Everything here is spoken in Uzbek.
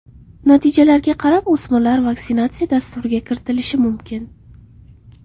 Natijalarga qarab o‘smirlar vaksinatsiya dasturiga kiritilishi mumkin.